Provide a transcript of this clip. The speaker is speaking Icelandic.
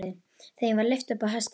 Þeim var lyft upp á hestana.